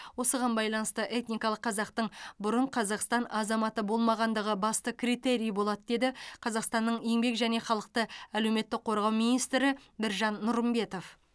осыған байланысты этникалық қазақтың бұрын қазақстан азаматы болмағандығы басты критерий болады деді қазақстанның еңбек және халықты әлеуметтік қорғау министрі біржан нұрымбетов